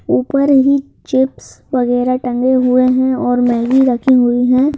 ऊपर ही चिप्स वगैरह टंगे हुए हैं और मैगी रखी हुई है।